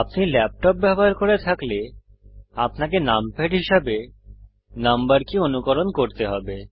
আপনি ল্যাপটপ ব্যবহার করে থাকলে আপনাকে নামপ্যাড হিসাবে নম্বর কী অনুকরণ করতে হবে